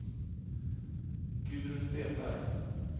Gudrun Stenberg